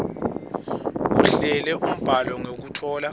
ahlele umbhalo ngekutfola